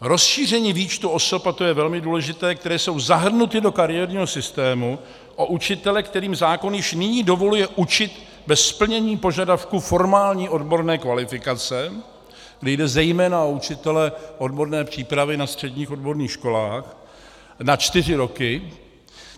Rozšíření výčtu osob - a to je velmi důležité -, které jsou zahrnuty do kariérního systému, o učitele, kterým zákon již nyní dovoluje učit bez splnění požadavku formální odborné kvalifikace, kdy jde zejména o učitele odborné přípravy na středních odborných školách, na čtyři roky.